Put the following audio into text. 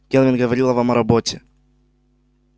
кэлвин говорила вам о роботе